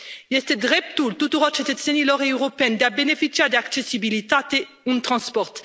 Este dreptul tuturor cetățenilor europeni de a beneficia de accesibilitate în transport.